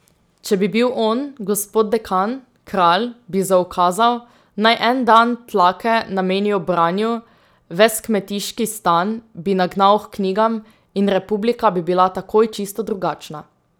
Če bi bil on, gospod dekan, kralj, bi zaukazal, naj en dan tlake namenijo branju, ves kmetiški stan bi nagnal h knjigam in Republika bi bila takoj čisto drugačna.